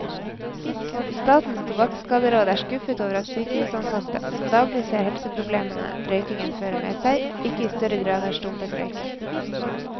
Statens tobakkskaderåd er skuffet over at sykehusansatte, som daglig ser helseproblemene røykingen fører med seg, ikke i større grad har stumpet røyken.